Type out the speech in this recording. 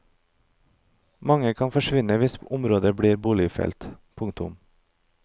Mange kan forsvinne hvis området blir boligfelt. punktum